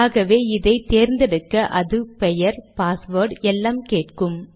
ஆகவே இதை தேர்ந்தெடுக்க அது பெயர் பாஸ்வேர்ட் எல்லாம் கேட்கும்